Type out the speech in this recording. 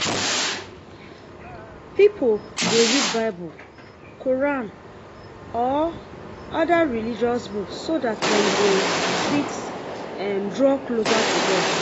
Pipo dey read bible, Quran or oda religious book so dat dem go fit draw closer to God